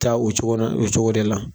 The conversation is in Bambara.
taa o cogo na o cogo de la.